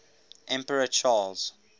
emperor charles